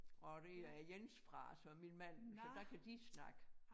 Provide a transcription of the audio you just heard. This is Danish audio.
Og dér er Jens fra altså min mand så der kan de snakke